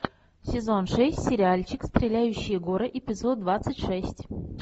сезон шесть сериальчик стреляющие горы эпизод двадцать шесть